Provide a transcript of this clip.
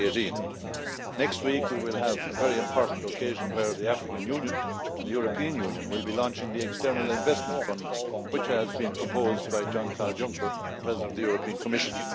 2018. Next week we will have a very important occasion when the African Union and the European Union will be launching the External Investment Fund which has been proposed by Jean Claude Juncker, President of the European Commission.